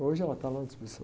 Hoje ela está lá na.